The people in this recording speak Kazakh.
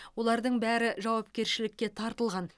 олардың бәрі жауапкершілікке тартылған